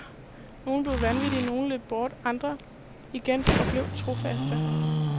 Nogle blev vanvittige, nogle løb bort, andre igen forblev trofaste.